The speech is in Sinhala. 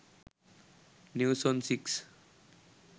news on 6